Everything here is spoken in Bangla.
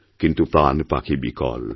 কিন্তু প্রাণপাখি বিকল